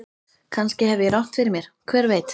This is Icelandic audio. Kannski hef ég rangt fyrir mér, hver veit?